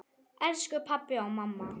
Elsku pabbi og mamma.